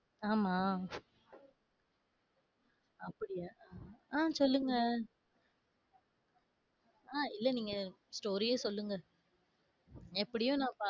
ஆமா. அப்படியா ஆஹ் சொல்லுங்க. அஹ் இல்ல நீங்க, story யே சொல்லுங்க. எப்படியும் நான் பா~